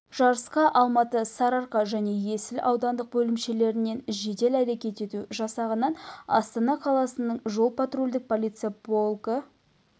жарысқа алматы сарыарқа және есіл аудандық бөлімшелерінен жедел әрекет ету жасағынан астана қаласының жол-патрульдік полиция полкі